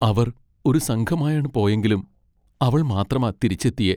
അവർ ഒരു സംഘമായാണ് പോയെങ്കിലും അവൾ മാത്രമാ തിരിച്ചെത്തിയെ .